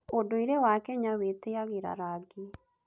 ũndũire wa Kenya wĩtĩagĩra rangi.